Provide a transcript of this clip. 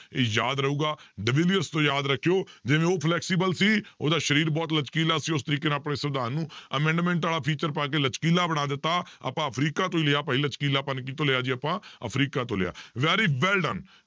ਇਹ ਯਾਦ ਰਹੇਗਾ ਤੋਂ ਯਾਦ ਰੱਖਿਓ ਜਿਵੇਂ ਉਹ flexible ਸੀ ਉਹਦਾ ਸਰੀਰ ਬਹੁਤ ਲਚਕੀਲਾ ਸੀ ਉਸ ਤਰੀਕੇ ਨਾਲ ਆਪਣੇ ਸਵਿਧਾਨ ਨੂੰ amendment ਵਾਲਾ feature ਪਾ ਕੇ ਲਚਕੀਲਾ ਬਣਾ ਦਿੱਤਾ, ਆਪਾਂ ਅਫ਼ਰੀਕਾਂ ਤੋਂ ਲਿਆ ਭਾਈ ਲਚਕੀਲਾਪਣ ਕਿਹਤੋਂ ਲਿਆ ਜੀ ਆਪਾਂ ਅਫ਼ਰੀਕਾ ਤੋਂ ਲਿਆ very well done